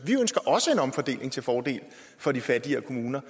også en omfordeling til fordel for de fattigere kommuner